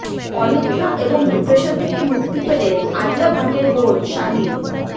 অনিদ্রা এবং ডিপ্রেশন থেকে মুক্তি পেলেন আলিয়া ভাটের বোন শাহিন